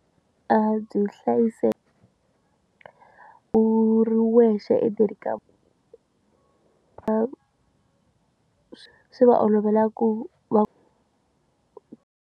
A byi hlayiseki u ri wexe endzeni ka a swi va olovela ku va.